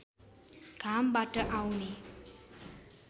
घामबाट आउने